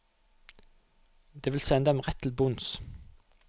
Det vil sende dem rett til bunns.